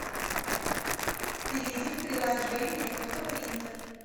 перейди в приложение фотопринтер